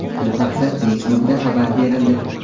Bu haqda Facebook’da xabar berildi .